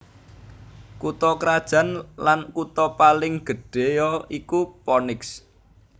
Kutha krajan lan kutha paling gedhéya iku Phoenix